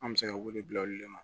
An bɛ se ka wele bila olu de ma